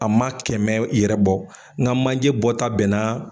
A ma kɛmɛ yɛrɛ bɔ n ka manjɛ bɔta bɛnna.